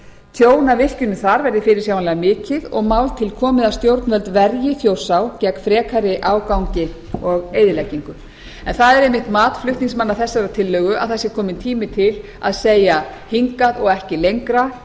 tjón af virkjunum þar verði fyrirsjáanlega mikið og mál til komið að stjórnvöld verji þjórsá gegn frekari ágangi og eyðileggingu það er einmitt mat flutningsmanna þessarar tillögu að það sé kominn tími til að segja hingað og ekki lengra